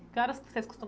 Que horas vocês costumam